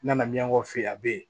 N nana miyɔngɔn fɛ ye a bɛ ye